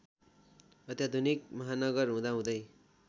अत्याधुनिक महानगर हुँदाहुँदै